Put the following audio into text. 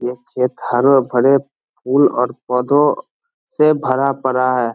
यह खेत हरे-भरे फूल और पौधों से भरा पड़ा है।